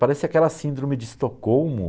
Parece aquela síndrome de Estocolmo.